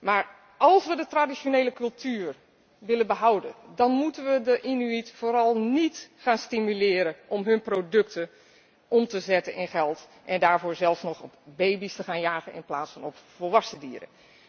Maar als we de traditionele cultuur willen behouden, dan moeten we de Inuit vooral niet gaan stimuleren om hun producten om te zetten in geld en daarvoor zelfs nog meer op baby's te gaan jagen in plaats van op volwassen dieren.